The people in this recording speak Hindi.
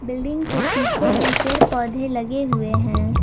बिल्डिंग के पीछे भी पेड़ पौधे लगे हुए हैं।